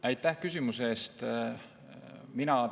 Aitäh küsimuse eest!